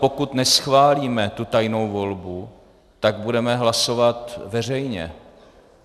Pokud neschválíme tu tajnou volbu, tak budeme hlasovat veřejně.